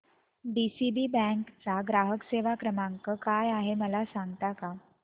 DCB bank चा ग्राहक सेवा क्रमांक काय आहे मला सांगता का